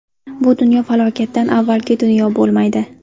Bu dunyo falokatdan avvalgi dunyo bo‘lmaydi.